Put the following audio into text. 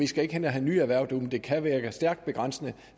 skal ind og have nye erhverv men det kan virke stærkt begrænsende